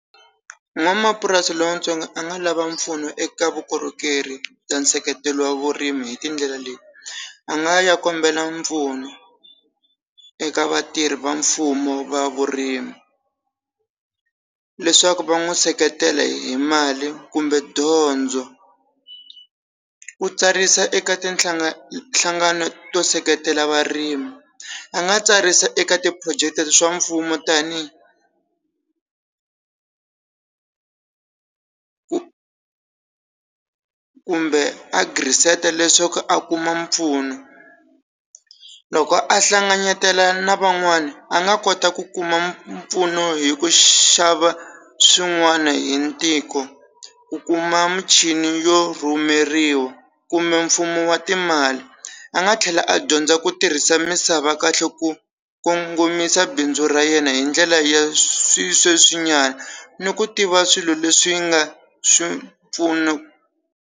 N'wamapurasi lontsongo a nga lava mpfuno eka vukorhokeri ta nseketelo wa vurimi hi tindlela leyi a nga ya kombela mpfuno eka vatirhi va mfumo va vurimi leswaku va n'wi seketela hi mali kumbe dyondzo ku tsarisa eka tinhlanga hlanganio to seketela varimi a nga tsarisa eka ti phurojeke swa mfumo tani ku kumbe a leswaku a kuma mpfuno loko a hlanganyetela na van'wani a nga kota ku kuma mpfuno hi ku xava swin'wana hi ntiko ku kuma muchini yo rhumeriwa kumbe mfumo wa timali a nga tlhela a dyondza ku tirhisa misava kahle ku kongomisa bindzu ra yena hi ndlela ya swisweswi nyana ni ku tiva swilo leswi nga swipfuno.